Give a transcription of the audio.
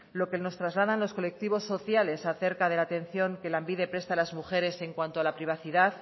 lo que nos trasladan los colectivos sociales acerca de la atención que lanbide presta a las mujeres en cuanto a la privacidad